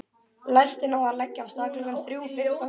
Lestin á að leggja af stað klukkan þrjú fimmtán síðdegis.